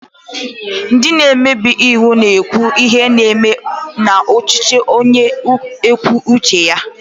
Ndị omebe iwu na-ekwu ihe na-eme n'ọchịchị onye kwue uche ya